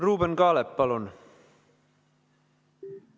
Ruuben Kaalep, palun!